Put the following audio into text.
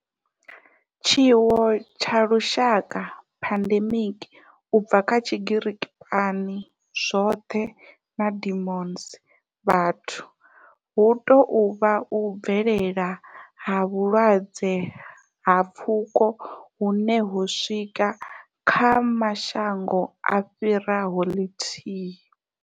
Tshiwo tsha lushaka, pandemic, u bva kha Tshigiriki pan, zwothe na demos, vhathu, hu tou vha u bvelela ha vhulwadze ha pfuko hune ho swika kha mashango a fhiraho lithihi.